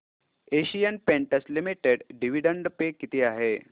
Asian Paints Limited dividend pay किती आहे